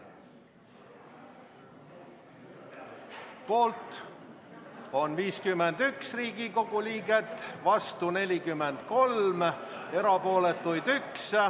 Poolt on 51 Riigikogu liiget, vastu 43 ja erapooletuid on 1.